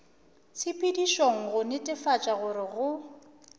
tshepedišong go netefatša gore go